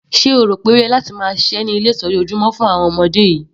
Sé o rò pé o yẹ láti máa ṣiṣẹ́ ní ilé ìtọ́jú ojúmọ́ fún àwọn ọmọdé yìí?